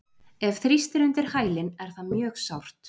Ef þrýst er undir hælinn er það mjög sárt.